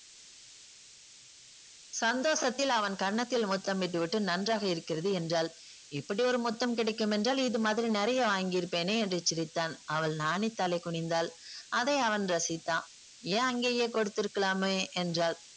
சந்தோஷத்தில் அவன் கன்னத்தில் முத்தமிட்டுவிட்டு நன்றாக இருக்கிறது என்றாள். இப்படியொரு முத்தம் கிடைக்குமென்றால் இது மாதிரி நிறைய வாங்கியிருப்பேனே என்று சிரித்தான். அவள் நாணி தலை குனிந்தாள். அதை அவன் ரசித்தான். ஏன் அங்கேயே கொடுத்திருக்கலாமே என்றாள்.